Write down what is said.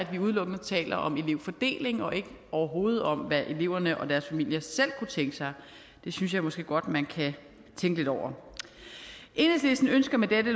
vi udelukkende taler om elevfordeling og overhovedet ikke om hvad eleverne og deres familier selv kunne tænke sig det synes jeg måske godt man kan tænke lidt over enhedslisten ønsker med dette